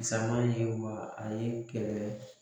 Sama ye wa a ye kɛlɛ